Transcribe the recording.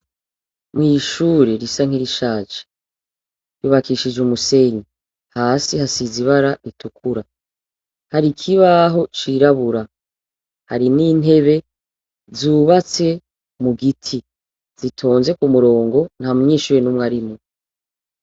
Mw'ishuri risa nirishaje ryubakishije umusenyi hasi hasize ibara ritukura, har'ikibaho cirabura, harimw'intebe zubatse mugiti zitonze k'umurongo ntamunyeshure n'umwe arimwo.